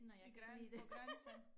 I gran på grænsen